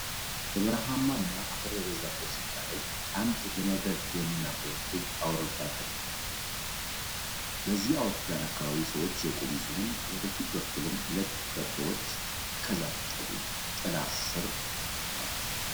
በበረሃማ እና አፈር በበዛበት ስፍራ ላይ አንድ ለመብረር የሚያኮበኩብ አውሮፕላን ተቀምጧል። በዚህ አውሮፕላን አካባቢ ሰዎች የቆሙ ሲሆን ወደ ፊት በኩልም ሁለት በቅሎዎች ከዛፍ ጥላ ስር ቆመዋል።